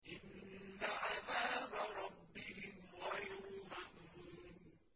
إِنَّ عَذَابَ رَبِّهِمْ غَيْرُ مَأْمُونٍ